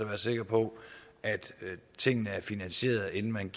være sikker på at tingene er finansieret inden man